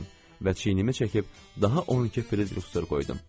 Və çiynimi çəkib daha 12 firitərs qoydum.